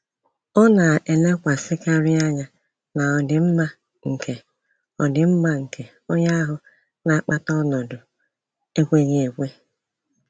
Ọ na-elekwasịkarị anya na ọdịmma nke ọdịmma nke onye ahu na-akpata ọnọdụ ekweghi ekwe.